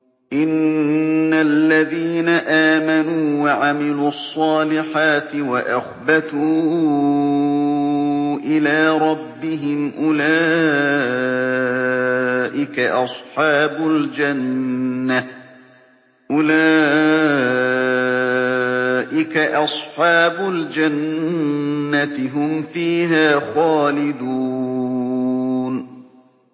إِنَّ الَّذِينَ آمَنُوا وَعَمِلُوا الصَّالِحَاتِ وَأَخْبَتُوا إِلَىٰ رَبِّهِمْ أُولَٰئِكَ أَصْحَابُ الْجَنَّةِ ۖ هُمْ فِيهَا خَالِدُونَ